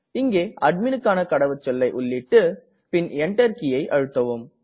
இங்கே அட்மிணுக்கான கடவுச்சொல்லை உள்ளீட்டு பின் Enter கீயை அழுத்தவும்